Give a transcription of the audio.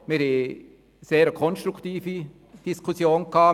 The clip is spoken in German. Wir haben eine sehr konstruktive Diskussion geführt.